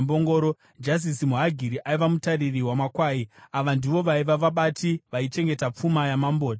Jazizi muHagiri aiva mutariri wamakwai. Ava ndivo vaiva vabati vaichengeta pfuma yaMambo Dhavhidhi.